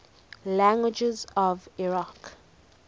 languages of iraq